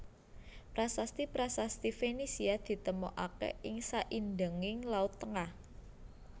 Prasasti prasasti Fenisia ditemokaké ing saindhenging Laut Tengah